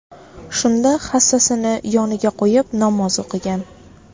Shunda hassasini yoniga qo‘yib, namoz o‘qigan.